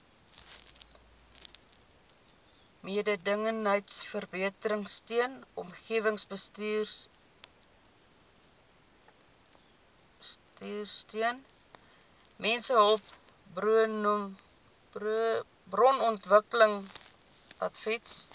mededingendheidsverbeteringsteun omgewingsbestuursteun mensehulpbronontwikkelingsadvies